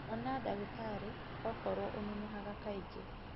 Ona ndagĩtarĩ okworwo ũnunuhaga kaingĩ.